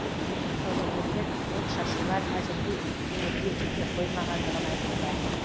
саудагерлер отшашулар әзірге өңірге жете қоймағандығын айтуда